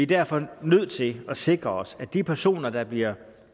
derfor nødt til at sikre os at de personer der bliver